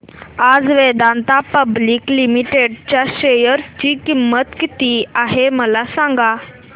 आज Vedanta public limited च्या share ची किंमत किती आहे मला सांगा